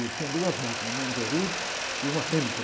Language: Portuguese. Ele tinha duas máquinas, uma Anderud e uma Hamilton.